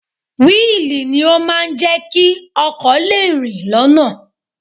Wíìlì ni ó máa ń jẹ́ kí ọkọ̀ lè rìn lọ́nà